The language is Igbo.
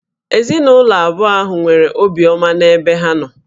Ezinụlọ abụọ ahụ nwere obiọma n'ebe ibe ha nọ